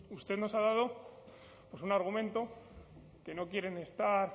usted nos ha dado pues un argumento que no quieren estar